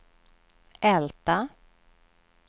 Älta